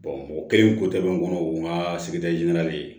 o kɛlen ko tɛmɛnen kɔnɔ o n ka sigida ɲini na de